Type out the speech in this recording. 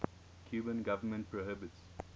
cuban government prohibits